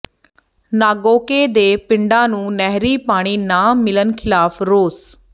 ਨਾਗੋਕੇ ਦੇ ਪਿੰਡਾਂ ਨੂੰ ਨਹਿਰੀ ਪਾਣੀ ਨਾ ਮਿਲਣ ਖਿਲਾਫ਼ ਰੋਸ